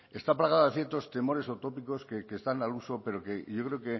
está plagada de ciertos temores utópicos que están al uso pero que yo creo